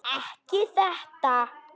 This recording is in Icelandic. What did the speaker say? Ekki þetta!